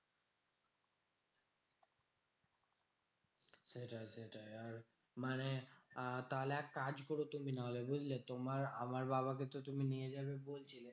সেটাই সেটাই, আর মানে আহ তাহলে এক কাজ করো তুমি নাহলে বুঝলে? তোমার আমার বাবাকে তো তুমি নিয়ে যাবে বলছিলে?